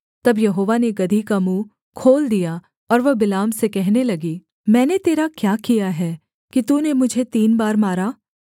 तब यहोवा ने गदही का मुँह खोल दिया और वह बिलाम से कहने लगी मैंने तेरा क्या किया है कि तूने मुझे तीन बार मारा